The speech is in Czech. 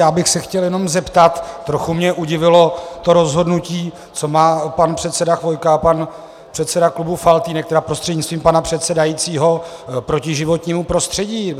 Já bych se chtěl jenom zeptat, trochu mě udivilo to rozhodnutí - co má pan předseda Chvojka a pan předseda klubu Faltýnek, tedy prostřednictvím pana předsedajícího, proti životnímu prostředí?